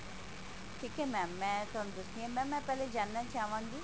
ਠੀਕ ਹੈ mam ਮੈਂ ਤੁਹਾਨੂੰ ਦੱਸਦੀ ਹਾਂ mam ਮੈਂ ਪਹਿਲਾ ਜਾਨਣਾ ਚਾਹਵਾਂਗੀ